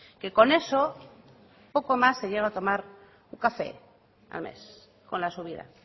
que con eso poco más se llega a tomar un café al mes con la subida